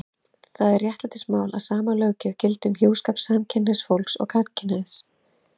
Það er réttlætismál að sama löggjöf gildi um hjúskap samkynhneigðs fólks og gagnkynhneigðs.